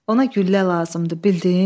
Ona güllə lazımdır, bildin?